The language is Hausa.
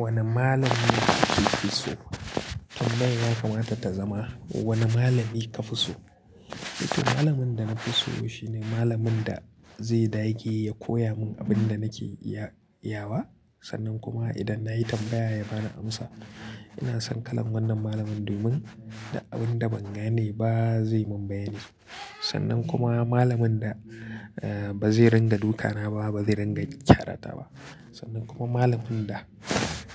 Wanne malami kake fi so? Tun nan ya kamata ta zama wane malami ka fi so. Niko malamin da na fi so shine malamin da zai da yake ya koya mun abin da nake iya-yawa. Sannan kuma idan nayi tambaya ya bani amsa. Ina son kalan wannan malamin domin da abin da ban gane ba zai mun bayani. Sannan kuma malamin da, eh, ba zai ringa duka na ba, ba zai ringa ƙyarata ba. Sannan kuma malamin da